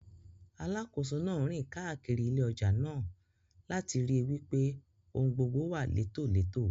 Alákòóso náà ń rìn káàkiri ilé ọjà náà, láti ríi wípé ohun gbogbo wà létòletò.